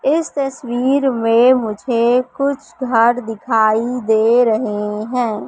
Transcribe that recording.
इस तस्वीर में मुझे कुछ घर दिखाई दे रहे हैं।